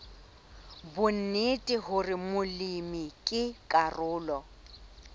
bonnete hore molemi ke karolo